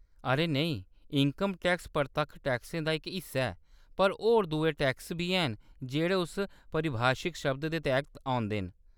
अरे नेईं, income tax परतक्ख टैक्सें दा इक हिस्सा ऐ, पर होर दुए टैक्स बी हैन जेह्‌‌ड़े उस परिभाशिक शब्द दे तैह्‌त औंदे न।